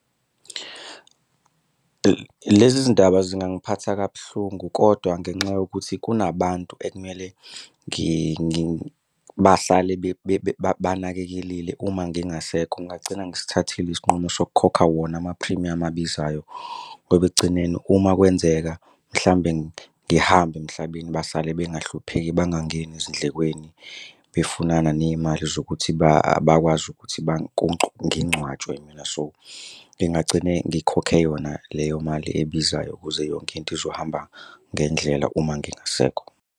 Lezi zindaba zingangiphatha kabuhlungu kodwa ngenxa yokuthi kunabantu ekumele bahlale banakelelile uma ngingasekho ngingagcina ngisithathile isinqumo sokukhokha wona amaphrimiyamu abizayo ngoba ekugcineni uma kwenzeka mhlawumbe ngihamba emhlabeni basale bengahlupheki, bangangeni ezindlekweni befunana ney'mali zokuthi bakwazi ukuthi ngingcwatshwe mina. So, ngingagcine ngikhokhe yona leyo mali ebizayo ukuze yonke into izohamba ngendlela uma ngingasekho.